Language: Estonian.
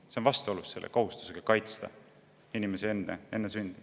See on vastuolus kohustusega kaitsta inimesi enne sündi.